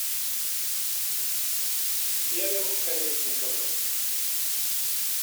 серым колесниковым